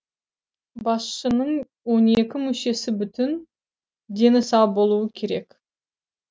басшының он екі мүшесі бүтін дені сау болуы керек